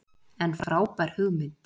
En frábær hugmynd